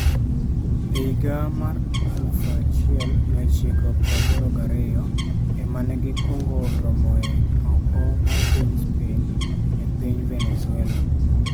E higa mar 1982 ema ne gikwongo romoe oko mar piny Spain, e piny Venezuela.